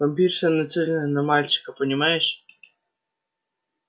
вампирша нацелена на мальчика понимаешь